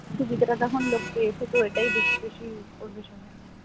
সুবিধাটা যখন লোক পেয়েছে এটাই বেশি বেশি use করবে সবাই,